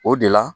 O de la